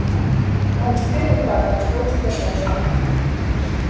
ну а теперь выкладывай что у тебя с эшли